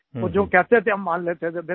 और जो कहते थे हम मान लेते थे